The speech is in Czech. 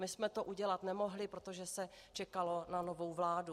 My jsme to udělat nemohli, protože se čekalo na novu vládu.